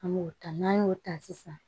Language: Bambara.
An m'o ta n'an y'o ta sisan